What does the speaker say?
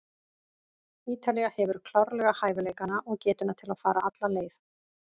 Ítalía hefur klárlega hæfileikana og getuna til að fara alla leið.